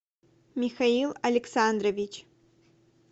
михаил александрович